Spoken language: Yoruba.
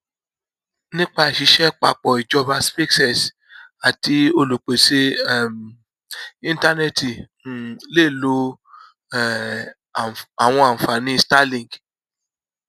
nípa ìṣiṣẹ papọ ìjọba spacex àti olúpésé um ìntánẹti um lè lo um àwọn ànfàní starlink